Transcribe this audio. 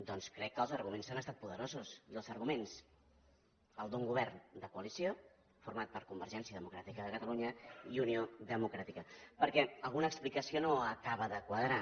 doncs crec que els arguments han estat poderosos i els arguments els d’un govern de coalició format per convergència democràtica de catalunya i unió democràtica perquè alguna explicació no acaba de quadrar